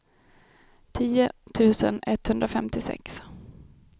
tio tusen etthundrafemtiosex